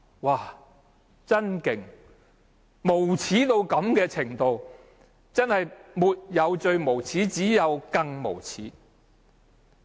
他們竟然可以無耻到這種程度，真的沒有最無耻，只有更無耻。